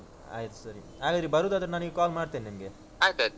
ಹಾ ಹೌದು ಆಯ್ತು ಸರಿ. ಹಾಗಾದ್ರೆ ಬರುದಾದ್ರೆ ನಾ ನಿಮ್ಗೆ call ಮಾಡ್ತೇನೆ ನಿಮ್ಗೆ.